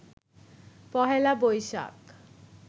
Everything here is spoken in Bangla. পহেলা বৈশাখ